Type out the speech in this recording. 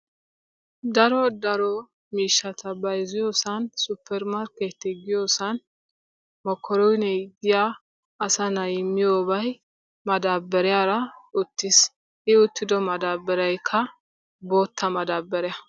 Daro daro miishshata bayzziyosan supper markkeettee giyossan mokkoronne asa na'ay miyobay madaabariyaara uttiis, I uttiddo madaabariyakka boottaa maddabariya.